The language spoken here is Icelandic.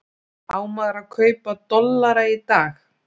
Á maður að kaupa dollara í dag?